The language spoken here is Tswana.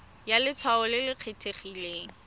ya letshwao le le kgethegileng